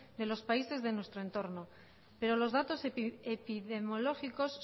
de los países de nuestro entorno pero los datos epidemiológicos